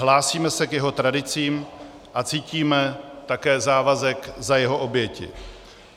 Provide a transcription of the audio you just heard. Hlásíme se k jeho tradicím a cítíme také závazek za jeho oběti.